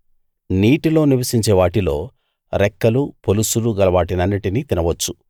నీటిలో నివసించే వాటిలో రెక్కలు పొలుసులు గలవాటినన్నిటినీ తినవచ్చు